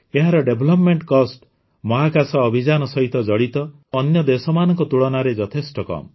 ଏହାର development cost ମହାକାଶ ଅଭିଯାନ ସହିତ ଜଡ଼ିତ ଅନ୍ୟ ଦେଶମାନଙ୍କ ତୁଳନାରେ ଯଥେଷ୍ଟ କମ